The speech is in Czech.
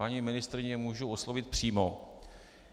Paní ministryni mohu oslovit přímo.